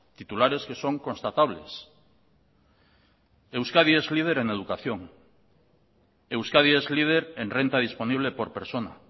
titulares que son constatables euskadi es líder en educación euskadi es líder en renta disponible por persona